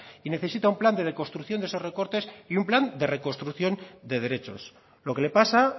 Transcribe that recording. y necesita un plan de reconstrucción de esos recortes y un plan de reconstrucción de derechos lo que le pasa